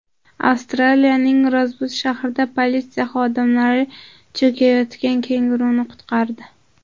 Avstraliyaning Rozbud shahrida politsiya xodimlari cho‘kayotgan kenguruni qutqardi.